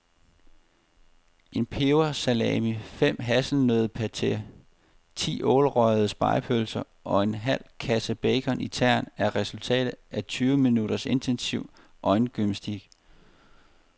En pebersalami, fem hasselnøddepateer, ti ålerøgede spegepølser og en halv kasse bacon i tern er resultatet af tyve minutters intensiv øjengymnastik.